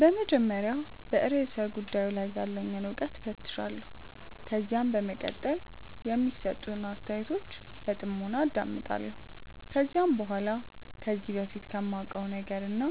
በመጀመሪያ በርእሰ ጉዳዩ ላይ ያለኝን እውቀት እፈትሻለሁ። ከዛም በመቀጠል የሚሰጡትን አስተያየቶች በጥሞና አዳምጣለሁ። ከዛም በኋላ ከዚህ በፊት ከማውቀው ነገርና